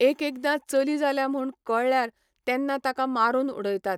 एकएकदां चली जाल्या म्हूण कळल्यार तेन्ना ताका मारून उडयतात.